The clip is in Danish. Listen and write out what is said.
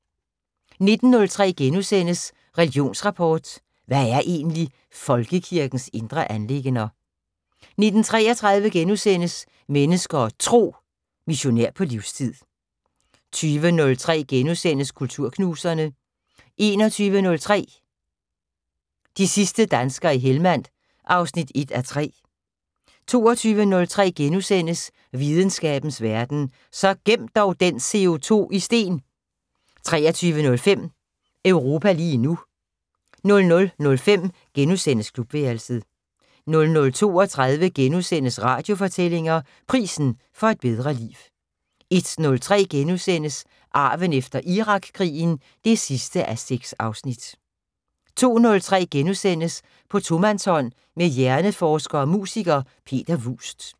19:03: Religionsrapport: Hvad er egentlig folkekirkens indre anliggender? * 19:33: Mennesker og Tro: Missionær på livstid * 20:03: Kulturknuserne * 21:03: De sidste danskere i Hellmand 1:3 22:03: Videnskabens Verden: Så gem dog den CO2 i sten * 23:05: Europa lige nu 00:05: Klubværelset * 00:32: Radiofortællinger: Prisen for et bedre liv * 01:03: Arven efter Irakkrigen 6:6 * 02:03: På tomandshånd med hjerneforsker og musiker, Peter Vuust *